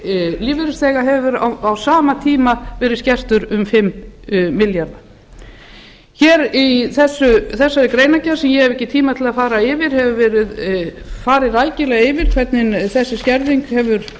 lífeyrir lífeyrisþega hefur á sama tíma verið skertur um fimm milljarða í greinargerðinni sem ég hef ekki tíma til að fara yfir hefur verið farið rækilega yfir hvernig þessi skerðing hefur